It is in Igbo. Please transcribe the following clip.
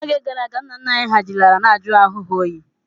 N'oge gara aga, nna nna anyị hà ji laraa na-ajụ ahu ha oyi.